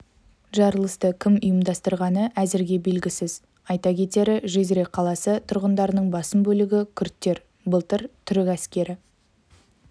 жарылысты кім ұйымдастырғаны әзірге белгісіз айта кетері жизре қаласы тұрғындарының басым бөлігі күрттер былтыр түрік әскері